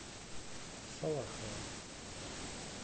салахова